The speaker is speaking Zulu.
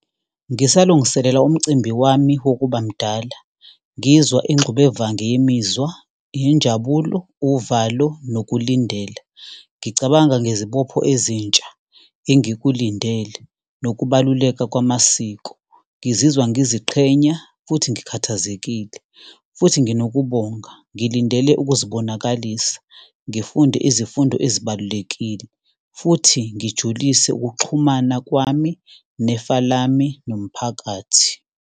Ngisalungiselela umcimbi wami wokuba mdala, ngizwa ingxubevange yemizwa, injabulo, uvalo, nokulindela. Ngicabanga ngezibopho ezintsha, engikulindele, nokubaluleka kwamasiko. Ngizizwa ngiziqhenya futhi ngikhathazekile, futhi nginokubonga. Ngilindele ukuzibonakalisa, ngifunde izifundo ezibalulekile, futhi ngijulise ukuxhumana kwami nefa lami nomphakathi.